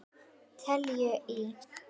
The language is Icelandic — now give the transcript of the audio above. Teljum í!